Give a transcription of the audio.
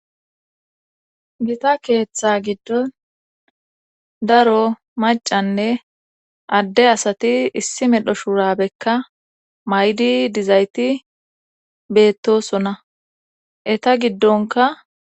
Gita keeththa giddon daro macanne adde asati issi medho shuurabekka maydi dizayti beettosona eta giddonka